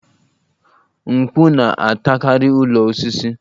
Mkpù na-atakarị ụlọ osisi